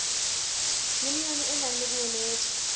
yunione e nang le boemedi